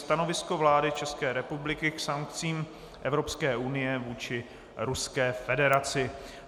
Stanovisko vlády České republiky k sankcím Evropské unie vůči Ruské federaci